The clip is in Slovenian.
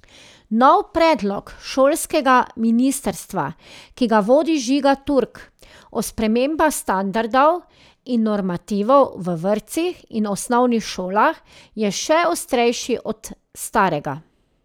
Nov predlog šolskega ministrstva, ki ga vodi Žiga Turk, o spremembah standardov in normativov v vrtcih in osnovnih šolah, je še ostrejši od starega.